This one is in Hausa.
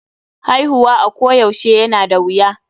Haihuwa a ko yaushe yana da wuya.